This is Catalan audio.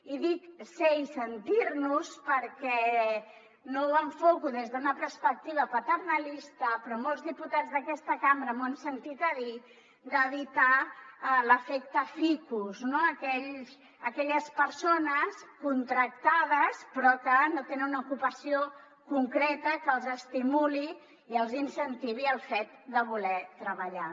i dic ser i sentir nos perquè no ho enfoco des d’una perspectiva paternalista però molts diputats d’aquesta cambra m’ho han sentit a dir d’evitar l’ efecte ficus no aquelles persones contractades però que no tenen una ocupació concreta que els estimuli i els incentivi el fet de voler treballar